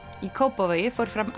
í Kópavogi fór fram